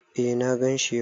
Eh na ganshi yau.